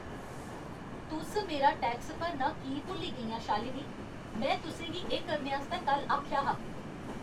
तुस मेरा टैक्स भरना की भुल्ली गेइयां, शालिनी? में तुसें गी एह् करने आस्तै कल्ल आखेआ हा।